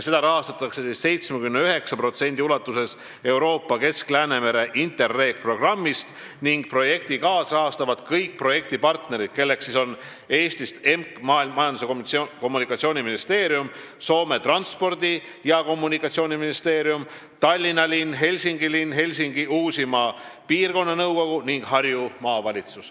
Seda rahastatakse 79% ulatuses Euroopa Kesk-Läänemere INTERREG-programmist ning projekti kaasrahastavad kõik projekti partnerid, kelleks on Eesti Majandus- ja Kommunikatsiooniministeerium, Soome transpordi- ja kommunikatsiooniministeerium, Tallinna linn, Helsingi linn, Helsingi Uusimaa piirkonnanõukogu ning Harju Maavalitsus.